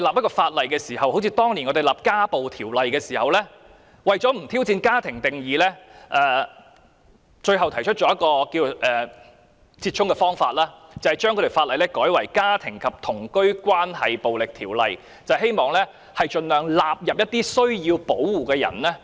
我們當年制定《家庭暴力條例》時，為了不挑戰"家庭"的定義，最後採取折衷方法，把法例易名為《家庭及同居關係暴力條例》，希望盡量涵蓋需要保護的人。